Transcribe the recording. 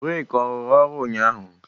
breeki ọ rụrụ ụnyahụ?